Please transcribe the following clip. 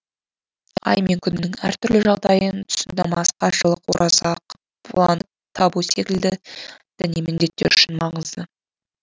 ай мен күннің әртүрлі жағдайын түсіну намаз қажылық ораза қыбланы табу секілді діни міндеттер үшін маңызды